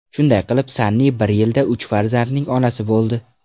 Shunday qilib, Sanni bir yilda uch farzandning onasi bo‘ldi.